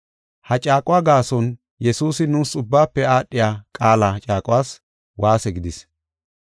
Ha caaquwa gaason Yesuusi nuus ubbaafe aadhiya qaala caaquwas waase gidis.